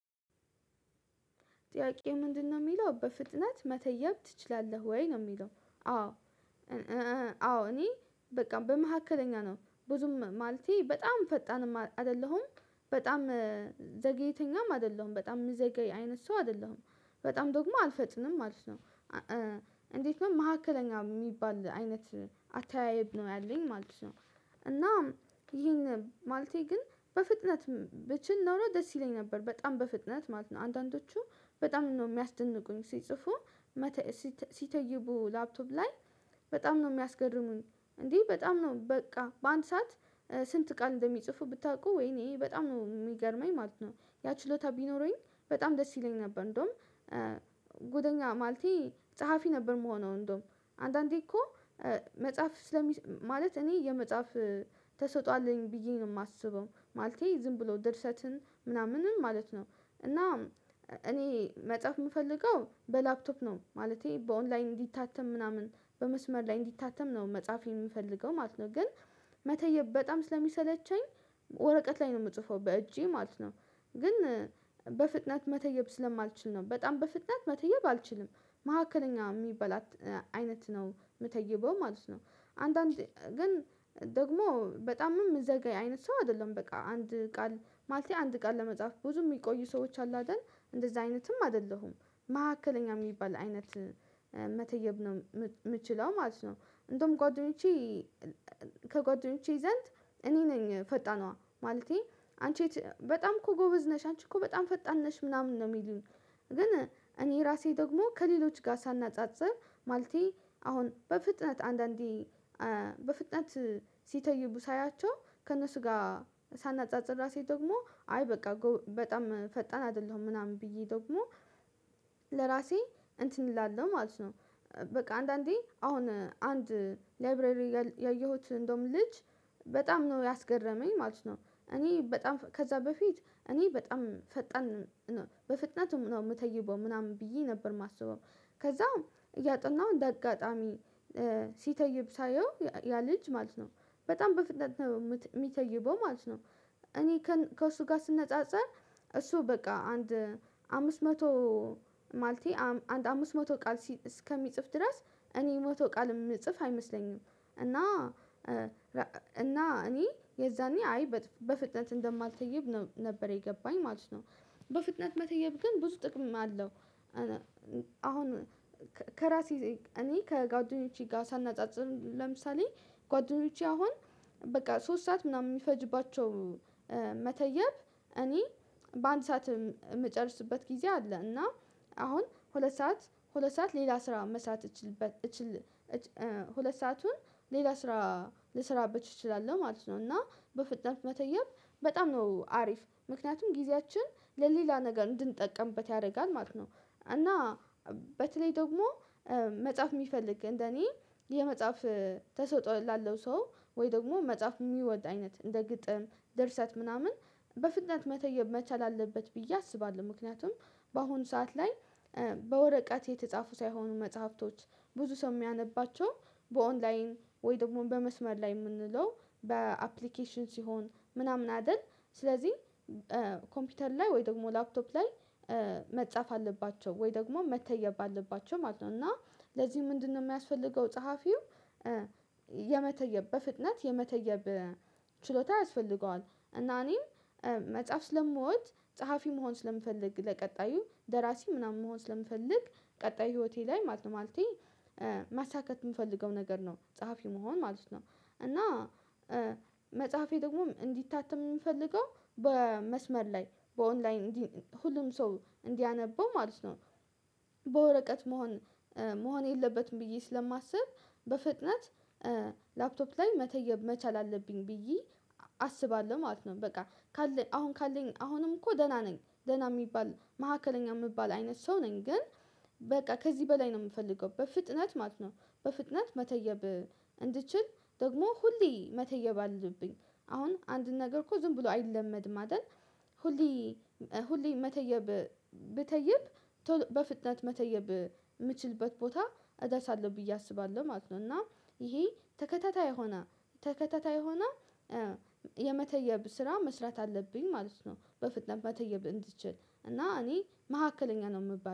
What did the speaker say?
ጥያቄው ምንድነው የሚለው በፍጥነት መተየብ ትችላለህ ወይ ነው የሚለው? አዎ አዎ እኔ በቃ በመካከለኛ ነው ብዙም ማለቴ በጣም ፈጣን አይደለሁም በጣም ዘገየተኛም አይደለሁም በጣም የሚዘገይ አይነት ሰው አይደለሁም በጣም ደግሞ አልፈጥንም ማለት ነው። እንዴት ነው መካከለኛ የሚባል አይነት አተያየብ ነው ያለኝ ማለት ነው። እናም ይሄን ማለቴ ግን በፍጥነት ብችል ኖሮ ደስ ይለኝ ነበር በጣም በፍጥነት ማለት ነው አንዳንዶቹ በጣም ነው የሚያስደንቁኝ ሲጽፉ። ሲተይቡ ላፕቶፕ ላይ በጣም ነው የሚያስገርሙኝ እንዴ በጣም ነው በቃ በአንድ ሰዓት ስንት ቃል እንደሚጽፉ ብታውቁ ወይኔ በጣም ነው የሚገርመኝ ማለት ነው። ያ ችሎታ ቢኖረኝ በጣም ደስ ይለኝ ነበር። እንደውም ጎደኛ ማለቴ ፀሐፊ ነበር የምሆነው እንደውም አንዳንዴ እኮ መጽሐፍ ስለሚፅፍ ማለት እኔ የመጽሐፍ ተሰጥኦ አለኝ ብዬ ነው የማስበው ማለቴ ዝም ብሎ ድርሰትን ምናምንም ማለት ነው። እና እኔ መጽሐፍ የምፈልገው በላፕቶፕ ነው ማለቴ በኦንላይን እንዲታተም ምናምን በመስመር ላይ እንዲታተም ነው መጽሐፌ የምፈልገው ማለት ነው። ግን መተየብ በጣም ስለሚሰለቸኝ ወረቀት ላይ ነው የምጽፈው በእጄ ማለት ነው። ግን በፍጥነት መተየብ ስለማልችል ነው በጣም በፍጥነት መተየብ አልችልም። መካከለኛ የሚባል አይነት ነው የምተይበው ማለት ነው። አንዳንድ ግን ደግሞ በጣም የምዘጋይ አይነት ሰው አይደለም በቃ አንድ ቃል ማለቴ አንድ ቃል ለመጻፍ ብዙ የሚቆዩ ሰዎች አሉ አይደል እንደዛ አይነትም አይደለሁም። መካከለኛ የሚባል አይነት መተየብ ነው የምችለው ማለት ነው። እንደውም ጓደኞቼ ከጓደኞቼ ዘንድ እኔ ነኝ ፈጣኗ ማለቴ አንቺ በጣም እኮ ጎበዝ ነሽ አንቺ እኮ በጣም ፈጣን ነሽ ምናምን ነው የሚሉኝ። ግን እኔ ራሴ ደግሞ ከሌሎች ጋር ሳናጻጽር ማለቴ አሁን በፍጥነት አንዳንዴ በፍጥነት ሲተይቡ ሳያቸው ከእነሱ ጋር ሳናጻጽር ራሴ ደግሞ አይ በቃ በጣም ፈጠን አይደለሁም ምናምን ብዬ ደግሞ ለራሴ እንትን እላለሁ ማለት ነው። በቃ አንዳንዴ አሁን አንድ ላይብረሪ ያየሁት እንደውም ልጅ በጣም ነው ያስገረመኝ ማለት ነው። እኔ በጣም ከዛ በፊት እኔ በጣም ፈጠን በፍጥነት ነው የምተይበው ምናምን ብዬ ነበር የማስበው ከዛም እያጠናው እንደ አጋጣሚ ሲተይብ ሳየው ያ ልጅ ማለት ነው በጣም በፍጥነት ነው የሚተይበው ማለት ነው። እኔ ከእሱ ጋር ስነጻጸር እሱ በቃ አንድ አምስት መቶ ማለቴ አንድ አምስት መቶ ቃል እስከሚጽፍ ድረስ እኔ መቶ ቃል የምጽፍ አይመስለኝም። እና እና እኔ የዛኔ አይ በፍጥነት እንደማልተይብ ነበር የገባኝ ማለት ነው። በፍጥነት መተየብ ግን ብዙ ጥቅም አለው። አሁን ከራሴ እኔ ከጓደኞቼ ጋር ሳናጻጽም ለምሳሌ ጓደኞቼ አሁን በቃ ሶስት ሰዓት ምናምን የሚፈጅባቸው መተየብ እኔ በአንድ ሰዓት የምጨርስበት ጊዜ አለ። እና አሁን ሁለት ሰዓት ሁለት ሰዓት ሌላ ስራ መስራት እችል ሁለት ሰአቱን ሌላ ስራ ልስራበት እችላለሁ ማለት ነው። እና በፍጥነት መተየብ በጣም ነው አሪፍ ምክንያቱም ጊዜያችን ለሌላ ነገር እንድንጠቀምበት ያደርጋል ማለት ነው። እና በተለይ ደግሞ መጽሐፍ የሚፈልግ እንደኔ የመጽሐፍ ተሰውጦ ላለው ሰው ወይ ደግሞ መጽሐፍ የሚወድ አይነት እንደ ግጥም እንደ እርሰት ምናምን በፍጥነት መተየብ መቻል አለበት ብዬ አስባለሁ። ምክንያቱም በአሁኑ ሰዓት ላይ በወረቀት የተጻፉ ሳይሆኑ መጽሐፍቶች ብዙ ሰው የሚያነባቸው በኦንላይን ወይ ደግሞ በመስመር ላይ የምንለው በአፕሊኬሽን ሲሆን ምናምን አይደል ስለዚህ ኮምፒውተር ላይ ወይ ደግሞ ላፕቶፕ ላይ መጻፍ አለባቸው ወይ ደግሞ መተየብ አለባቸው ማለት ነው። እና ለዚህ ምንድነው የሚያስፈልገው ጸሐፊው የመተየብ በፍጥነት የመተየብ ችሎታ ያስፈልገዋል። እና እኔም መጽሐፍ ስለሞት ጸሐፊ መሆን ስለምፈልግ ለቀጣዩ ደራሲ ምናምን መሆን ስለምፈልግ ቀጣይ ህይወቴ ላይ ማለቴ ማሳካት የምፈልገው ነገር ነው ጸሐፊ መሆን ማለት ነው። እና መጽሐፌ ደግሞ እንዲታተም የምንፈልገው በመስመር ላይ በኦንላይን ሁሉም ሰው እንዲያነበው ማለት ነው። በወረቀት መሆን መሆን የለበትም ብዬ ስለማስብ በፍጥነት ላፕቶፕ ላይ መተየብ መቻል አለብኝ ብዬ አስባለሁ ማለት ነው። በቃ ካለኝ አሁን ካለኝ አሁንም እኮ ደህና ነኝ ደህና የሚባል መካከለኛ የሚባል አይነት ሰው ነኝ። ግን በቃ ከዚህ በላይ ነው የምፈልገው በፍጥነት ማለት ነው። በፍጥነት መተየብ እንድትችል ደግሞ ሁሌ መተየብ አለብኝ አሁን አንድን ነገር እኮ ዝም ብሎ አይለመድም አይደል? ሁሌ ሁሌ መተየብ ብተይብ በፍጥነት መተየብ የምችልበት ቦታ እደርሳለው ብዬ አስባለሁ ማለት ነው። እና ይሄ ተከታታይ የሆነ ተከታታይ የሆነ የመተየብ ስራ መስራት አለብኝ ማለት ነው። በፍጥነት መተየብ እንድትችል እና እኔ መካከለኛ ነው የምባለው